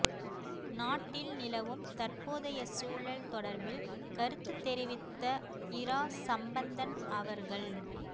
நாட்டில் நிலவும் தற்போதைய சூழல் தொடர்பில் கருத்து தெரிவித்த இரா சம்பந்தன் அவர்கள்